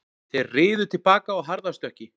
Þeir riðu til baka á harðastökki